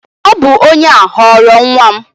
Ọ bụ onye a ghọrọ nwa m